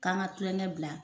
K'an ka tulonkɛ bila